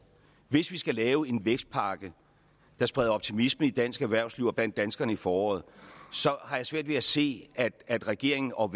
hvis vi skal lave en vækstpakke der spreder optimisme i dansk erhvervsliv og blandt danskerne i foråret har jeg svært ved at se at at regeringen og